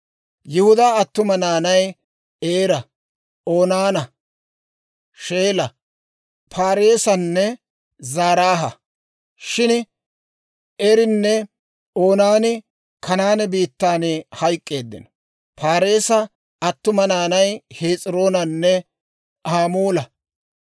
Yihudaa attuma naanay Eera, Oonaana, Sheela, Paareesanne Zaraaha; shin Eerinne Oonaani Kanaane biittan hayk'k'eeddino. Paareesa attuma naanay Hes'iroonanne Hamuula.